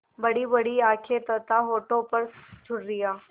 बड़ीबड़ी आँखें तथा होठों पर झुर्रियाँ